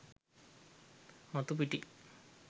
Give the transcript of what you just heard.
මතු පිටින්.